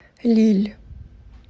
лилль